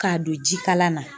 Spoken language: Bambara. K'a don jikala na